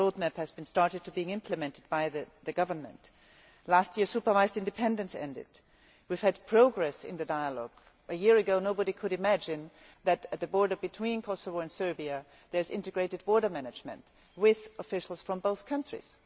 The road map has started to be implemented by the Government. Last year, supervised independence ended. We have had progress in the dialogue. A year ago nobody could have imagined that, at the border between Kosovo and Serbia, there would be integrated border management with officials from both countries.